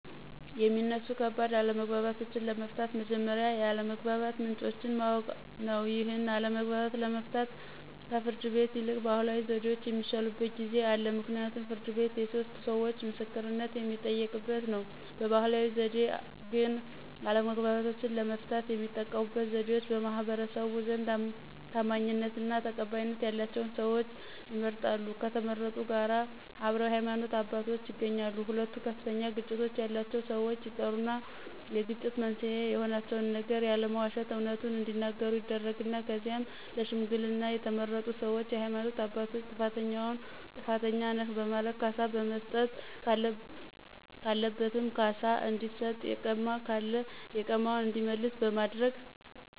የሚነሱ ከባድ አለመግባባቶችን ለመፍታት መጀመሪያ የአለመግባባት ምንጮችን ማወቅ ነው ይህን አለመግባባት ለመፍታት ከፍርድ ቤት ይልቅ ባህላዊ ዘዴዎች የሚሻሉበት ጊዜ አለ ምክንያቱም ፍርድ ቤት የሶስት ሰዎቾ ምስክርነት የሚጠየቅበት ነው። በባህላዊ ዘዴ ግን አለመግባባቶችን ለመፍታት የሚጠቀሙበት ዘዴዎች በማህበረሰቡ ዘንድ ታማኝነትና ተቀባይነት ያላቸው ሰዎች ይመረጣሉ ከተመረጡት ጋር አብረው የሃይማኖት አባቶች ይገኛሉ ሁለቱ ከፍተኛ ግጭት ያላቸው ሰዎች ይጠሩና የግጭት መንስኤ የሆናቸውን ነገር ያለመዋሸት አውነቱን እዲናገሩ ይደረግና ከዚያም ለሽምግልና የተመረጡ ሰዎችና የሃይማኖት አባቶች ጥፋተኛውን ጥፋተኛ ነህ በማለት ካሳ መስጠት ካለበትም ካሳ እንዲሰጥ የቀማ ካለ የቀማውን እንዲመልስ በማድረግ